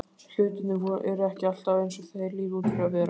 Hlutirnir eru ekki alltaf eins og þeir líta út fyrir að vera.